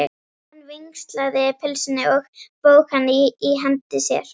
Hann vingsaði pylsunni og vóg hana í hendi sér.